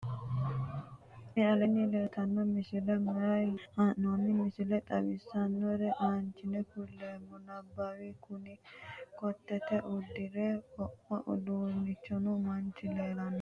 tini aleenni leeltanno misile maati yiniro biifinse haa'noni misile xawisssannore aanche kuleemmona nabawi kuni kootete uduunne wo'ma udirino manchi leellannoe